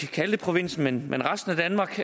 kalde det provinsen men resten af danmark